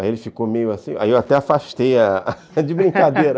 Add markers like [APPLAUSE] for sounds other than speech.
Aí ele ficou meio assim, aí eu até afastei a [LAUGHS] de brincadeira [LAUGHS]